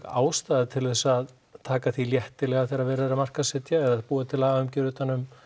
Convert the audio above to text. ástæða til að taka því léttilega þegar verið er að markaðssetja eða búa til lagaumgjörð utan um